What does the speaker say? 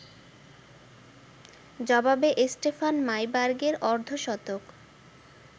জবাবে স্টেফান মাইবার্গের অর্ধশতক